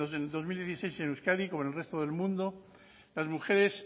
el dos mil dieciséis en euskadi como en el resto del mundo las mujeres